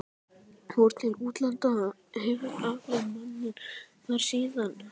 Fór til útlanda, hefur alið manninn þar síðan.